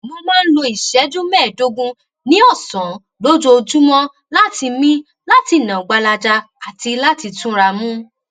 mo máa ń lo ìṣéjú méèédógún ní òsán lójoojúmó láti mí láti nà gbalaja àti láti túnramú